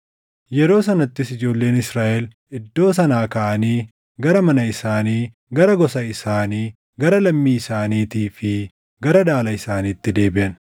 Yeroo sanattis ijoolleen Israaʼel iddoo sanaa kaʼanii gara mana isaanii, gara gosa isaanii, gara lammii isaaniitii fi gara dhaala isaaniitti deebiʼan.